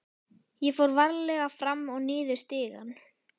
Ég fór varlega fram og niður stigann.